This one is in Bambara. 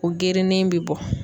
O gerenen be bɔ.